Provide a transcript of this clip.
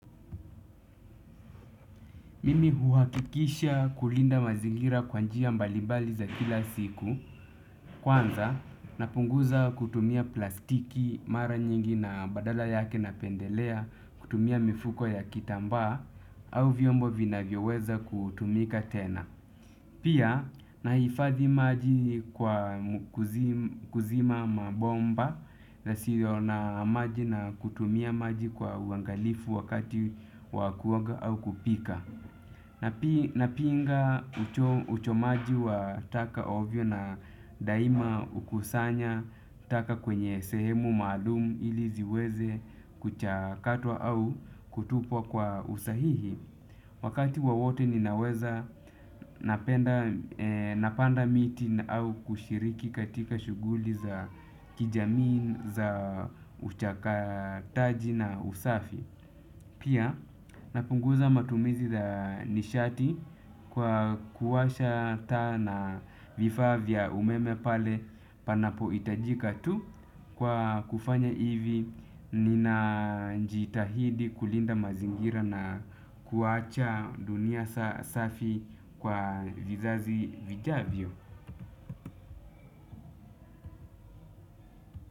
Mimi huhakikisha kulinda mazigira kwa njia mbalibali za kila siku, kwanza napunguza kutumia plastiki mara nyingi na badala yake napendelea kutumia mifuko ya kitambaa au vyombo vinavyo weza kutumika tena. Pia nahifadhi maji kwa kuzima mabomba yasiyo na maji na kutumia maji kwa uangalifu wakati wa kuoga au kupika. Napinga uchomaji wa taka ovyo na daima kukusanya taka kwenye sehemu maalumu ili ziweze kuchakatwa au kutupwa kwa usahihi. Wakati wowote ninaweza napanda miti au kushiriki katika shughuli za kijamii za uchakataji na usafi. Pia napunguza matumizi ya nishati kwa kuwasha taa na vifaa vya umeme pale panapo hitajika tu kwa kufanya hivi. Ninajitahidi kulinda mazingira na kuacha dunia safi kwa vizazi vijavyo.